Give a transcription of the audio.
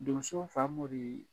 Donso Famori